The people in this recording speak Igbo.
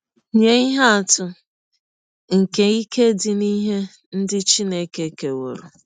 Nye ihe atụ nke ike dị n’ihe ndị Chineke kewọrọ .:-